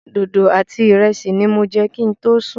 Dodo àti ìrẹsì ní mo jẹ kin tó sùn.